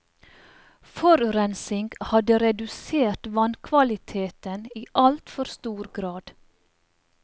Forurensing hadde redusert vannkvaliteten i alt for stor grad.